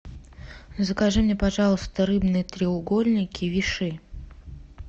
закажи мне пожалуйста рыбные треугольники виши